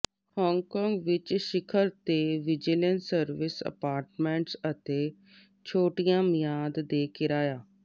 Hong Kong ਵਿੱਚ ਸਿਖਰ ਤੇ ਵਿਜੀਲੈਂਸ ਸਰਵਿਸ ਅਪਾਰਟਮੈਂਟਸ ਅਤੇ ਛੋਟੀਆਂ ਮਿਆਦ ਦੇ ਕਿਰਾਇਆ